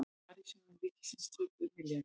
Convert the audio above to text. Sparisjóðir ríkisins töpuðu milljarði